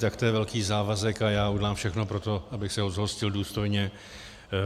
Tak to je velký závazek a já udělám všechno pro to, abych se ho zhostil důstojně.